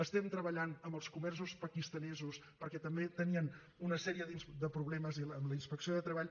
estem treballant amb els comerços pakistanesos perquè també tenien una sèrie de problemes amb la inspecció de treball